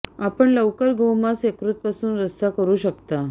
आपण लवकर गोमांस यकृत पासून रस्सा करू शकता